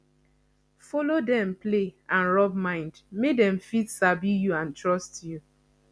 follow dem play and rub mind make dem fit sabi you and trust you